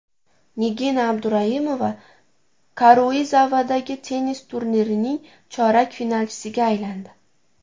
Nigina Abduraimova Karuizavadagi tennis turnirining chorak finalchisiga aylandi.